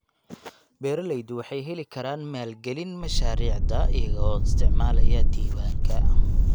Beeraleydu waxay heli karaan maalgelin mashaariicda iyagoo isticmaalaya diiwaanka.